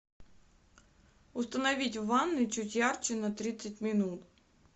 установить в ванной чуть ярче на тридцать минут